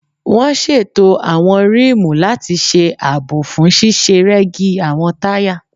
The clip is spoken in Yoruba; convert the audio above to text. Wọ́n ṣètò àwọn rímùù láti ṣe àbò fún ṣíṣe rẹ́gí àwọn táyà